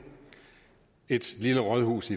et lille rådhus